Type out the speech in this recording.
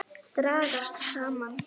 Dragast saman.